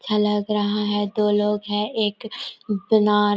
अच्छा लग रहा है दो लोग है एक बना--